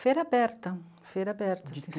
Feira aberta, feira aberta.